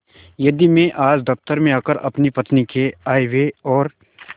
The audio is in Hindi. यदि मैं आज दफ्तर में आकर अपनी पत्नी के आयव्यय और